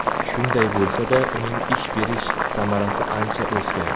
Shunday bo‘lsa-da uning ish berish samarasi ancha o‘sgan.